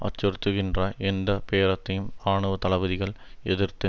அச்சுறுத்துகின்ற எந்த பேரத்தையும் இராணுவ தளபதிகள் எதிர்த்து